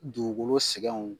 Dugukolo sɛgɛnw